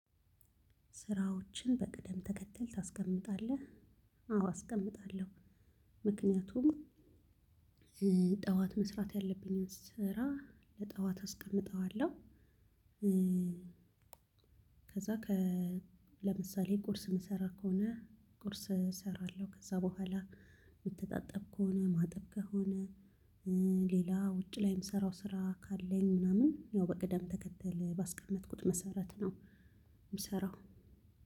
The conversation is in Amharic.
ስራዎችን በቅደም ተከተል ታስቀምጣለህ? አዎ አስቀምጣለሁ ምክንያቱም ጠዋት መስራት ያለብኝን ስራ ለጠዋት አስቀምጠዋለሁ። ከዛ ለምሳሌ ቁርስ የምሰራ ከሆነ ቁርስ እሰራለሁ። ከዛ በኋላ የምተጣጠብ ከሆነ ማጠብ ከሆነ ሌላ ውጭ ላይ የምሰራው ስራ ካለኝ ምናምን ያው በቅደም ተከተል ባስቀመጥኩት መሰረት ነው የምሰራው።